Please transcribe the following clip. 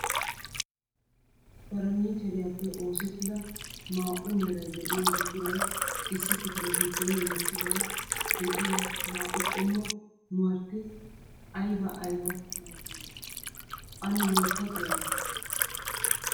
Farannicheriyappe oosetida maa"u meray de'iyo buquray issi kifile giddon wottidaw de'iyaa naa"u qommo mwrati aybba aybba malatiyoona? ane loytta xeella.